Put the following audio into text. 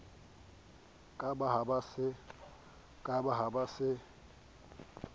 ka ba ba ho se